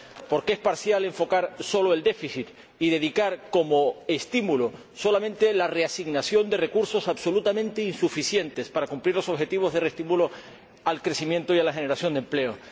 Porque es parcial enfocar solo el déficit y dedicar como estímulo solamente la reasignación de recursos absolutamente insuficientes para cumplir los objetivos de reestímulo del crecimiento y de la generación de empleo.